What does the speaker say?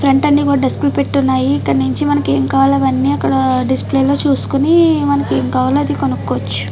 Front అన్ని కూడా డస్కులు పెట్టి ఉన్నాయి ఇక్కడ్నించి మనకేం కావాలో అవన్నీ అక్కడ డిస్ప్లే లో చూసుకొని మనకేం కావాలో అది కొనుక్కోవచ్చు.